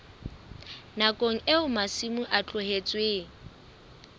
nakong eo masimo a tlohetsweng